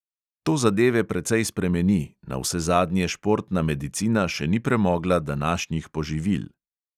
To zadeve precej spremeni, navsezadnje športna medicina še ni premogla današnjih poživil.